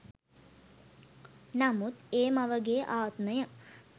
නමුත් ඒ මවගේ ආත්මය